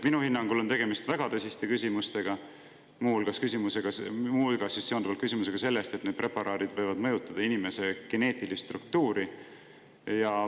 Minu hinnangul on tegemist väga tõsiste küsimustega, muu hulgas küsimus, kas need preparaadid võivad mõjutada inimese geneetilist struktuuri.